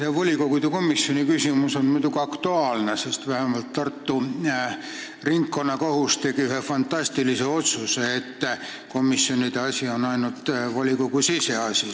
See volikogu komisjonide küsimus on muidugi aktuaalne, sest vähemalt Tartu Ringkonnakohus tegi ühe fantastilise otsuse: komisjonide asi on ainult volikogu siseasi.